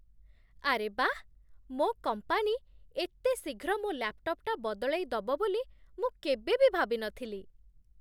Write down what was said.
ଆରେ ବାଃ, ମୋ' କମ୍ପାନୀ ଏତେ ଶୀଘ୍ର ମୋ' ଲ୍ୟାପ୍‌ଟପ୍‌ଟା ବଦଳେଇଦବ ବୋଲି ମୁଁ କେବେବି ଭାବି ନଥିଲି!